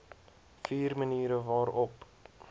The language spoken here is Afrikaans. vier maniere waarop